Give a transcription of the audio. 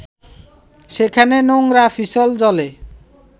সেখানে নোংরা পিছল জলে